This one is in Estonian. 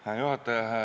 Hää juhataja!